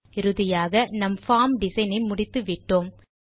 இறுதியாக நம் form design ஐ முடித்து விட்டோம்